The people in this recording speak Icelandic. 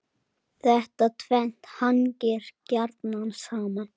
Þetta tvennt hangir gjarnan saman.